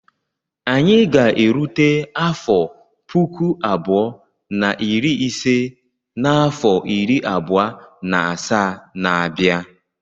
Anyị ga-erute afọ puku abụọ na iri ise n'afọ iri abụọ na asaa na-abịa.